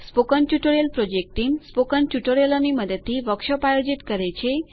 spoken tutorial project team spoken ટ્યુટોરિયલોની મદદથી workshop આયોજિત કરે છે